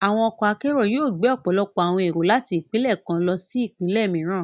Àwọn ọkọ akero yóò gbe ọpọlọpọ awọn ero láti ipinlẹ kàn lọsí ipinlẹ mìíràn.